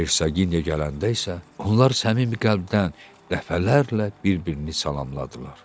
Hersaqiniya gələndə isə onlar səmimi qəlbdən dəfələrlə bir-birini salamladılar.